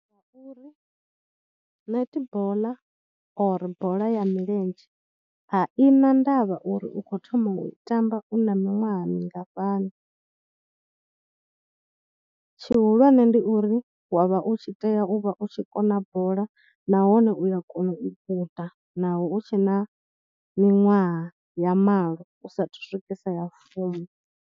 Nga uri netball or bola ya milenzhe a ina ndavha uri u khou thoma u i tamba na miṅwaha mingafhani, tshihulwane ndi uri wa vha u tshi tea u vha u tshi kona bola nahone u ya kona u guda naho hu tshe na miṅwaha ya malo u saathu swikisa ya fumi.